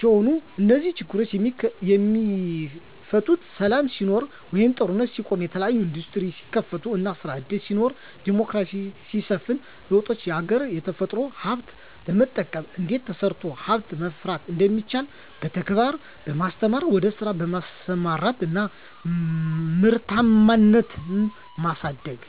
ሲሆኑ -እነዚህ ችግሮች የሚፈቱት ሰላም ሲኖር ወይም ጦርነት ሲቆም፤ የተለያዬ እንዱስትሪዎች ሲከፈቱ እና ስራ እድል ሲኖር፤ ዲሞክራሲ ሲሰፍን፤ ለወጣቱ የሀገራች የተፈጥሮ ሀብት በመጠቀም እንዴት ተሰርቶ ሀብት ማፍራት እንደሚቻል በተግባር በማስተማር ወደ ስራ በማሰማራት እና ምርታማነትን ማሳደግ።